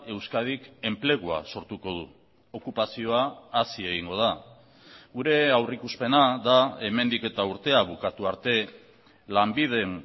euskadik enplegua sortuko du okupazioa hazi egingo da gure aurrikuspena da hemendik eta urtea bukatu arte lanbiden